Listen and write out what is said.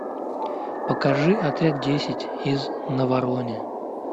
покажи отряд десять из наварона